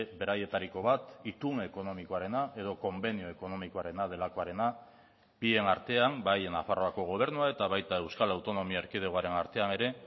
beraietariko bat itun ekonomikoarena edo konbenio ekonomikoarena delakoarena bien artean bai nafarroako gobernua eta baita euskal autonomia erkidegoaren artean ere